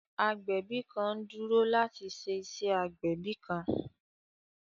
Agbẹbi kan n duro lati ṣe iṣe igbẹbi kan.